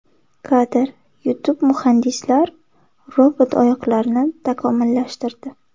Kadr: YouTube Muhandislar robot oyoqlarini takomillashtirdi.